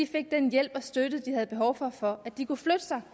fik den hjælp og støtte de havde behov for for at de kunne flytte sig